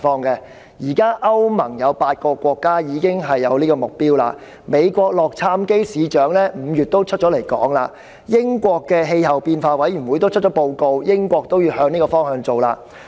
現時歐洲聯盟中有8個國家已經採納此目標；美國洛杉磯市長亦在5月表示跟隨這個目標；英國的氣候變化委員會也發表報告，表示英國也會朝這個方向進行減碳工作。